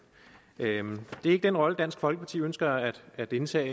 det er ikke den rolle dansk folkeparti ønsker at at indtage